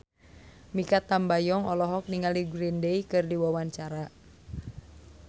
Mikha Tambayong olohok ningali Green Day keur diwawancara